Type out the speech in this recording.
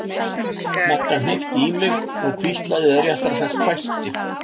Magga hnippti í mig og hvíslaði eða réttara sagt hvæsti